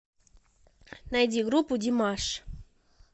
найди группу димаш